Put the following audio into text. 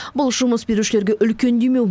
бұл жұмыс берушілерге үлкен демеу